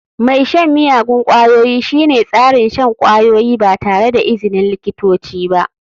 Mai shan miyagun ƙwayoyi shine tsarin shan kwayoyi ba tare da izinin likitoci ba.